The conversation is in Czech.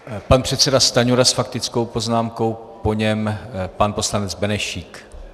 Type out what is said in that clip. Pan předseda Stanjura s faktickou poznámkou, po něm pan poslanec Benešík.